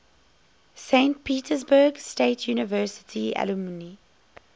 saint petersburg state university alumni